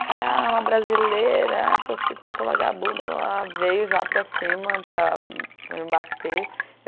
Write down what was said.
O cara é uma brasileira, é prostituta, vagabunda, veio já para cima para para me bater.